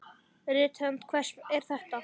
Rithönd hvers er þetta?